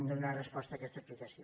donar resposta a aquesta explicació